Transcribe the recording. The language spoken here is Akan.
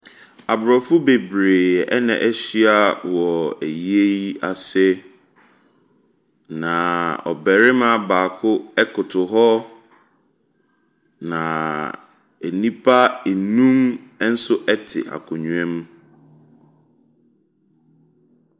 Aborɔfo bebree ɛna ahyia wɔ ayie yi ase, na ɔbarima baako ɛkoto hɔ, na nnipa nnum nso ɛte akonnwa mu.